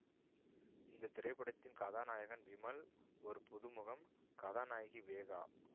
இந்த திரைப்படத்தின் கதாநாயகன் விமல் ஒரு புதுமுகம் கதாநாயகி வேகா